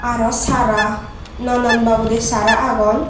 aro sara nanan babodey sara agon.